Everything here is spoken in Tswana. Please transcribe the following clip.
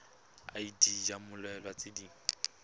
id ya mmoelwa tse di